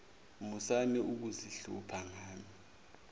musani ukuzihlupha ngami